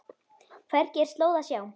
Hvergi er slóð að sjá.